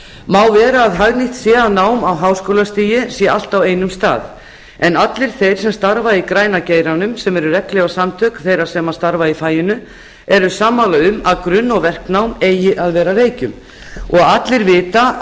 má vera að hagnýtt sé að nám á háskólastigi sé allt á einum stað en allir þeir sem starfa í græna geiranum sem eru regnhlífarsamtök þeirra er starfa í faginu eru sammála um að grunn og verknám eigi að vera á reykjum allir vita